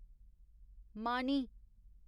मानी